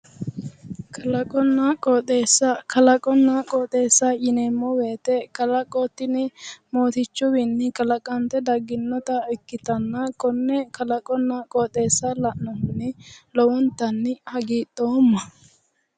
Kalaqonna qoxeessa kalaqonna qoxeessa yineemmo woyiite kalaqo tini mootichuwiinni kalaqante dagginnota ikkitanna konne kalaqonna qoxeessa la'nohunni lowontanni hagidhoomma